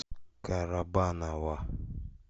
карабаново